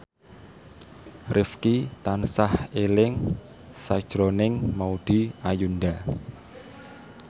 Rifqi tansah eling sakjroning Maudy Ayunda